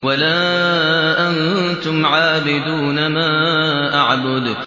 وَلَا أَنتُمْ عَابِدُونَ مَا أَعْبُدُ